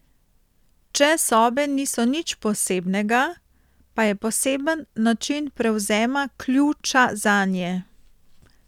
Če sobe niso nič posebnega, pa je poseben način prevzema ključa zanje.